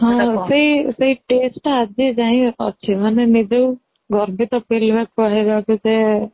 ହଁ ସେଇ taste ଟା ଆଜି ଯାଏ ଅଛି ମାନେ ନିଜକୁ ଗର୍ବିତ feel ହୁଏ କହିବାକୁ ଯେ